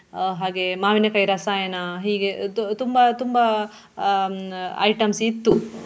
ಆಹ್ ಹಾಗೆ ಮಾವಿನಕಾಯಿ ರಾಸಾಯನ ಹೀಗೆ ತು~ ತುಂಬಾ ತುಂಬಾ ಆಹ್ ಹ್ಮ್ items ಇತ್ತು.